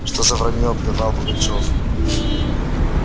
что за враньё прервал пугачёв